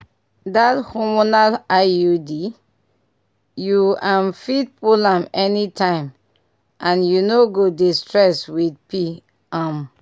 that hormonal iud? you um fit pull am anytime and you no go dey stress with pi um